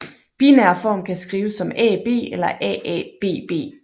Binær form kan skrives som AB eller AABB